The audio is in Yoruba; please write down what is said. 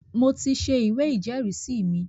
mo ti se “ ìwé ìjẹ́rìísí” mi.